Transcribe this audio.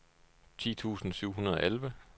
ti tusind syv hundrede og elleve